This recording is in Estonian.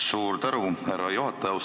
Suur tänu, härra juhataja!